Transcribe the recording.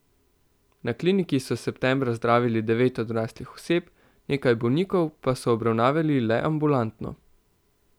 Na kliniki so septembra zdravili devet odraslih oseb, nekaj bolnikov pa so obravnavali le ambulantno.